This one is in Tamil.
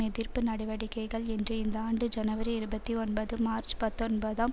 எதிர்ப்பு நடவடிக்கைகள் என்று இந்த ஆண்டு ஜனவரி இருபத்தி ஒன்பது மார்ச் பத்தொன்பதாம்